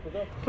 Yaralıb.